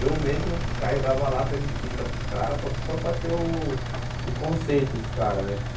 Eu mesmo carregava lata de tinta para os caras, para só para ter o o conceito dos caras, né?